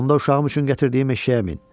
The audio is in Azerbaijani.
Onda uşağım üçün gətirdiyim eşşəyə min.